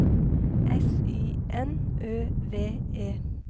S Y N Ø V E